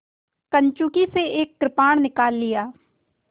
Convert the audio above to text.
कंचुकी से एक कृपाण निकाल लिया